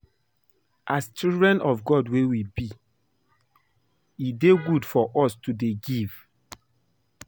As children of God wey we be e dey good for us to dey give